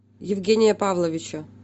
евгения павловича